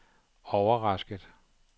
overrasket